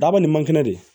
Daba ni mankinɛ de